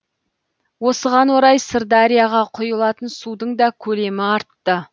осыған орай сырдарияға құйылатын судың да көлемі артты